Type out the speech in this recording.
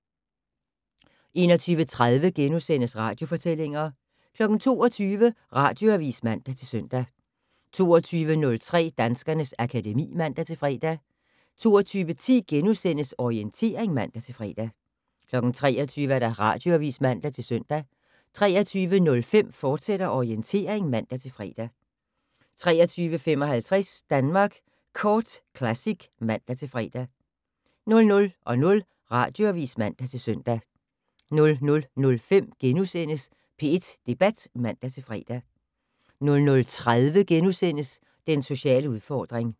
21:30: Radiofortællinger * 22:00: Radioavis (man-søn) 22:03: Danskernes akademi (man-fre) 22:10: Orientering *(man-fre) 23:00: Radioavis (man-søn) 23:05: Orientering, fortsat (man-fre) 23:55: Danmark Kort Classic (man-fre) 00:00: Radioavis (man-søn) 00:05: P1 Debat *(man-fre) 00:30: Den sociale udfordring *